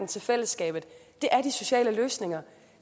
til fællesskabet er de sociale løsninger